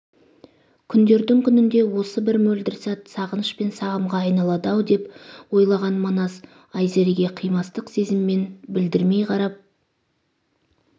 күндердің күнінде осы бір мөлдір сәт сағыныш пен сағымға айналады-ау деп ойлаған манас айзереге қимастық сезіммен білдірмей қарап